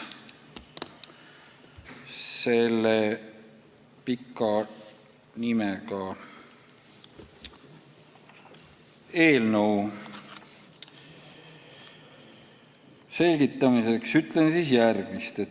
Selle pika nimega eelnõu sisu selgitamiseks ütlen järgmist.